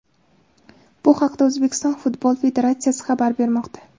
Bu haqda O‘zbekiston Futbol federatsiyasi xabar bermoqda .